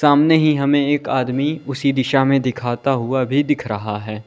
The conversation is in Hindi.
सामने ही हमें एक आदमी उसी दिशा में दिखाता हुआ भी दिख रहा है।